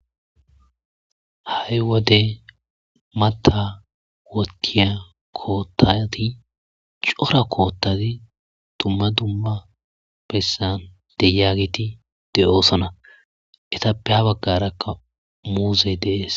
Ha7i wode mata wotiya koottati cora koottati dumma dumma pessan de yaagiti de7oosana etappeha baggarakka muuse dees.